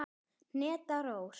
Hneta Rós.